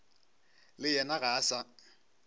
le yena ga a sa